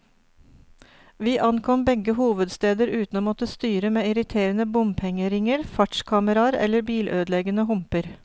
Vi ankom begge hovedsteder uten å måtte styre med irriterende bompengeringer, fartskameraer eller bilødeleggende humper.